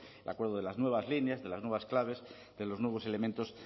el acuerdo de las nuevas líneas de las nuevas claves de los nuevos elementos